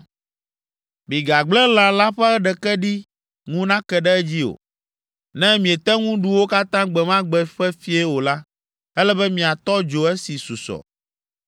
Migagblẽ lã la ƒe ɖeke ɖi ŋu nake ɖe edzi o. Ne miete ŋu ɖu wo katã gbe ma gbe ƒe fiẽ o la, ele be miatɔ dzo esi susɔ.